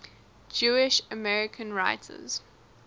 jewish american writers